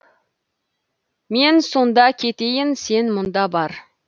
мен сонда кетейін сен мұнда бар